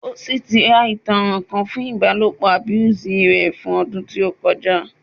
O si ti a itanran fun ibalopo abuse pẹ odun to koja